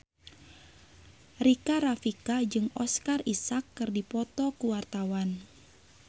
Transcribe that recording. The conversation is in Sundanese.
Rika Rafika jeung Oscar Isaac keur dipoto ku wartawan